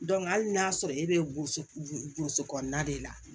hali n'a y'a sɔrɔ e bɛ woson kɔnɔna de la